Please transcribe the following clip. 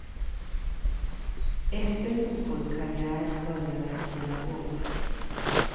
Efter fotbollskarriären började jag spela golf.